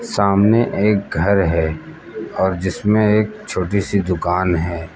सामने एक घर है और जिसमें एक छोटी सी दुकान है।